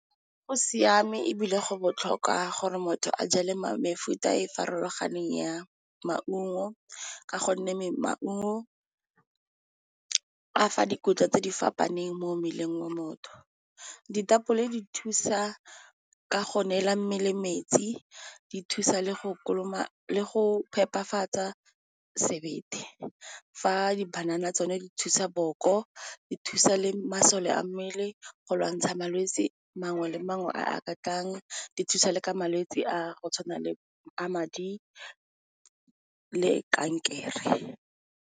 Go siame ebile go botlhokwa gore motho a jale mefuta e farologaneng ya maungo, ka gonne maungo a fa dikotla tse di fapaneng mo mmeleng wa motho. Ditapole di thusa ka go neela mmele metsi, di thusa le go phepafatsa sebete, fa di banana tsone di thusa boko, di thusa le masole a mmele go lwantsha malwetse mangwe le mangwe a ka tlang, di thusa le ka malwetse a go tshwana le a madi le kankere.